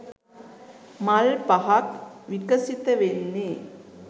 මල් පහක් විකසිත වෙන්නේ.